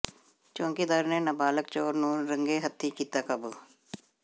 ਚੌਾਕੀਦਾਰ ਨੇ ਨਾਬਾਲਗ ਚੋਰ ਨੂੰ ਰੰਗੇ ਹੱਥੀਂ ਕੀਤਾ ਕਾਬੂ